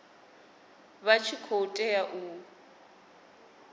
vha tshi khou tea u